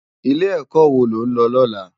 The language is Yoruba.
Ilé èkò wó ló n lò lòlá?